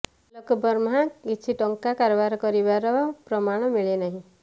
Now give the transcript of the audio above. ଆଲୋକ ବର୍ମା କିଛି ଟଙ୍କା କାରବାର କରିଥିବାର ପ୍ରମାଣ ମିଳିନାହିଁ